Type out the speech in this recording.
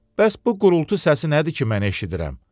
Bəs bu gurultu səsi nədir ki, mən eşidirəm?